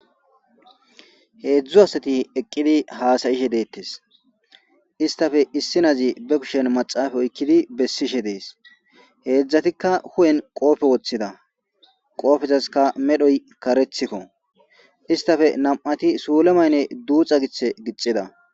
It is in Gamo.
Heedzdzu asati eqqidi haasayishe deettes istafe issi naazi be kushen maxaafa oykkidi bessishe dees heedzdzatikka hu'en qoofe woththida qoofezaska medhoy karethikko istafe nam'ati suule mayne duuxa giche gixida.